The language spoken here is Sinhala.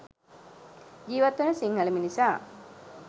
ජීවත්වන සිංහල මිනිසා